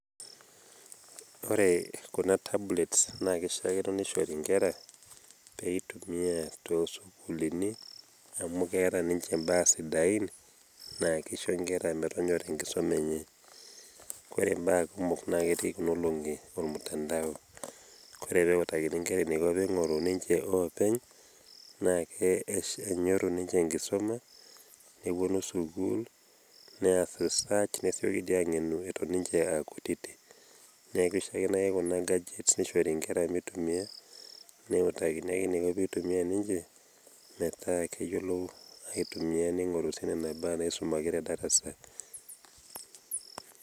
ore kuna tablets naa keishaakino nishori nkera pee eitumia too sukuulini, amu keeta ninche baa sidain naa ksiho nkera metonyora enkisuma enye. ore baa kumok naa ketii kuna olongi mutandao. ore pee eutakini nkera eneiko pee eingoru ninche openy. naa eingoru ninche enkisuma, nepuonu sukuul. nees research nesioki aangenu eton ninche aakutitik. neku kishakino kuna enkanyit nishori nkera mitumia, neutakini ake mituma ninche metaa keyiolou aitumia ningoru sii nena baa naiumaki tedarasa.